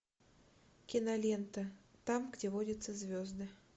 кинолента там где водятся звезды